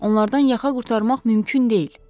Onlardan yağa qurtarmaq mümkün deyil.